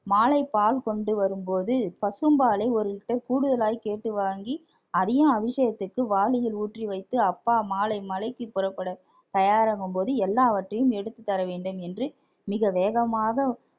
மாலை பால் கொண்டு வரும்போது பசும்பாலை ஒரு liter கூடுதலாய் கேட்டு வாங்கி அதையும் அபிஷேகத்திற்கு வாளியில் ஊற்றி வைத்து அப்பா மாலை மலைக்கு புறப்பட தயாராகும் போது எல்லாவற்றையும் எடுத்து தர வேண்டும் என்று மிக வேகமாக